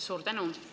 Suur tänu!